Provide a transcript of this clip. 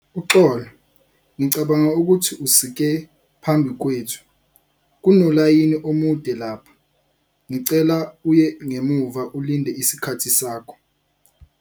Uxolo, ngicabanga ukuthi usike phambi kwethu. kunolayini omude lapha. Ngicela uye ngemuva, ulinde isikhathi sakho.